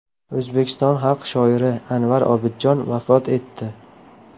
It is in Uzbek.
O‘zbekiston xalq shoiri Anvar Obidjon vafot etdi.